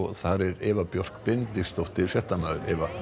þar er Eva Björk Benediktsdóttir fréttamaður